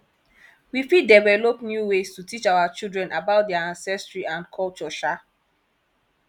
we fit develop new ways to teach our children about their ancestry and culture um